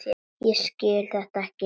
Ég skil þetta ekki!